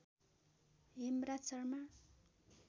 Hemraj Sharma